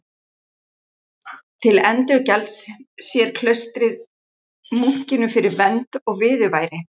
Til endurgjalds sér klaustrið munkinum fyrir vernd og viðurværi.